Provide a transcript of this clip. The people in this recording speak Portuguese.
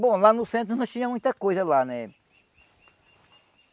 Bom, lá no centro nós tínhamos muita coisa lá, né?